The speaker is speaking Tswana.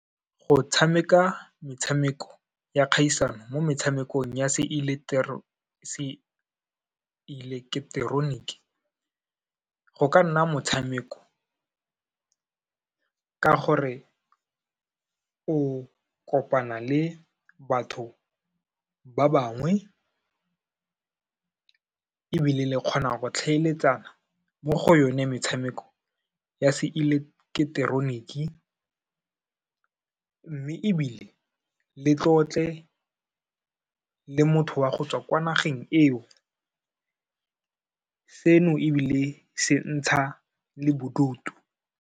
Go tshameka metshameko ya kgaisano mo metshamekong ya se eleketeroniki, go ka nna motshameko ka gore o kopana le batho ba bangwe ebile le kgona go tlhaeletsana mo go yone metshameko ya se eleketeroniki, mme ebile le tlotle le motho wa go tswa kwa nageng eo, seno ebile se ntsha le bodutu.